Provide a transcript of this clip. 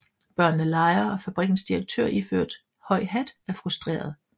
Børnene leger og fabrikkens direktør iført høj hat er frustreret